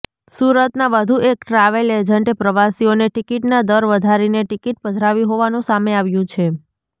સુરતના વધુ એક ટ્રાવેલ એજન્ટે પ્રવાસીઓને ટિકિટના દર વધારીને ટિકિટ પધરાવી હોવાનું સામે આવ્યું છે